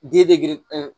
Di de gere